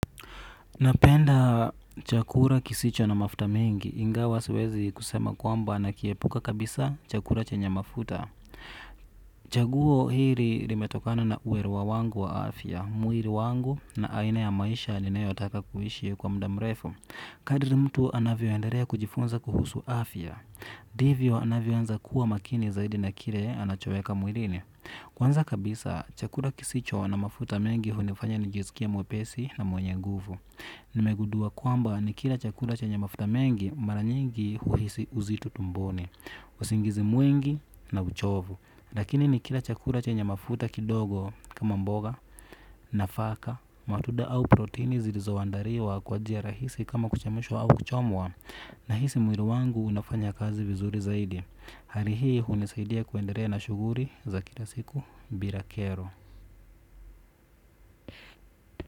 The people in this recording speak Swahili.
Napenda chakula kisicho na mafuta mingi, ingawa siwezi kusema kwamba na kiepuka kabisa chakula chenye mafuta. Chaguo hiri limetokana na ueruwa wangu wa afya, muiri wangu na aina ya maisha ninayo taka kuhishi kwa mda mrefu. Kadri mtu anavyoendelea kujifunza kuhusu afya divyo anavyo anza kuwa makini zaidi na kire anachoeka mwilini. Kwanza kabisa chakura kisicho na mafuta mingi hunifanya njisikie mwepesi na mwenye nguvu. Nimegudua kwamba ni kila chakura chenye mafuta mengi maranyingi huhisi uzito tumboni. Usingizi mwingi na uchovu lakini ni kila chakura chenye mafuta kidogo kama mboga nafaka matuda au protini zilizoandariwa kwa jia rahisi kama kuchemshwa au kuchomwa. Nahisi muiri wangu unafanya kazi vizuri zaidi. Hari hii unisaidia kuenderea na shuguri za kila siku bira kero.